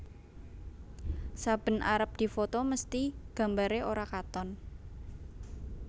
Saben arep difoto mesthi gambare ora katon